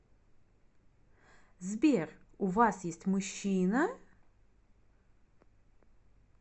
сбер у вас есть мужчина